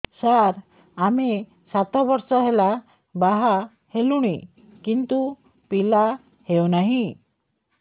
ସାର ଆମେ ସାତ ବର୍ଷ ହେଲା ବାହା ହେଲୁଣି କିନ୍ତୁ ପିଲା ହେଉନାହିଁ